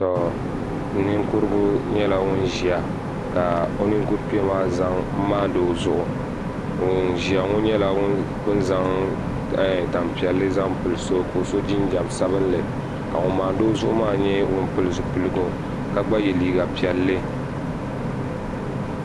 Ninkurigu nyɛla ŋun ʒiya ka o ninkuri kpee maa maandi o zuɣu ŋun ʒiya ŋo nyɛla bin zaŋ tanpiɛlli zaŋ pili so ka o so jinjɛm sabinli ka ŋun maandi o zuɣu maa mii nyɛ ŋun pili zipiligu ka gba yɛ liiga piɛlli